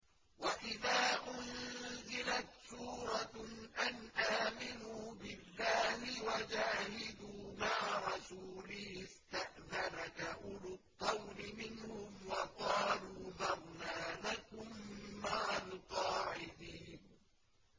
وَإِذَا أُنزِلَتْ سُورَةٌ أَنْ آمِنُوا بِاللَّهِ وَجَاهِدُوا مَعَ رَسُولِهِ اسْتَأْذَنَكَ أُولُو الطَّوْلِ مِنْهُمْ وَقَالُوا ذَرْنَا نَكُن مَّعَ الْقَاعِدِينَ